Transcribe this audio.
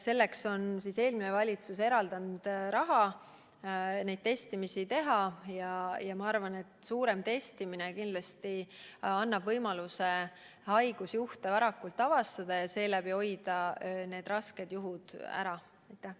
Eelmine valitsus on raha eraldanud, et neid testimisi teha, ja ma arvan, et suurem testimine annab võimaluse haigusjuhte varakult avastada ja seeläbi rasked juhud ära hoida.